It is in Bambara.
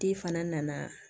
Di fana nana